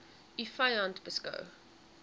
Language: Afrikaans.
u vyand beskou